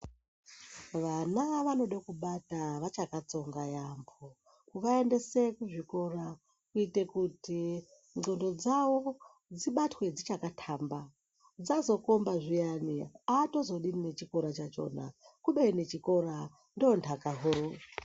Vana vonoda kubata vachakatsonga yambo kuvaendesa kuzvikora kuite kuti ndxondo dzavo dzibatwe dzichakatamba dzisazo komba zviyani hazodi nechikora chakona kubeni chikora ndondaka huru.